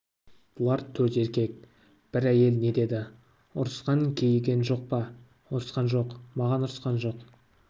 бұлар төрт еркек бір әйел не деді ұрысқан кейіген жоқ па ұрысқан жоқ маған ұрысқан жоқ